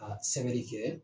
Ka sɛbɛri kɛ